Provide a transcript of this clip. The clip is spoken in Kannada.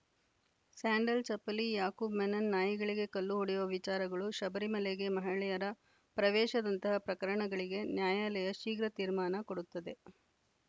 ಸ್ಯಾಂಡಲ್‌ ಚಪ್ಪಲಿ ಯಾಕೂಬ್‌ ಮೆನನ್‌ ನಾಯಿಗಳಿಗೆ ಕಲ್ಲು ಹೊಡೆಯುವ ವಿಚಾರಗಳು ಶಬರಿಮಲೆಗೆ ಮಹಿಳೆಯರ ಪ್ರವೇಶದಂತಹ ಪ್ರಕರಣಗಳಿಗೆ ನ್ಯಾಯಾಲಯ ಶೀಘ್ರ ತೀರ್ಮಾನ ಕೊಡುತ್ತದೆ